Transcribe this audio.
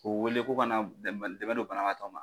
K'u wele k'u ka na dɛ don banabagatɔ ma.